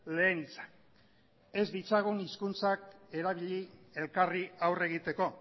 lehen hitzak ez ditzagun hizkuntzak erabili elkarri aurre egiteko